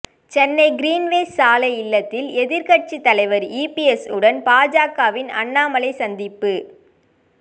Chennai Greenways சாலை இல்லத்தில் எதிர்க்கட்சி தலைவர் இபிஎஸ் உடன் பாஜகவின் அண்ணாமலை சந்திப்பு